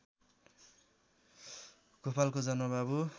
गोपालको जन्म बाबु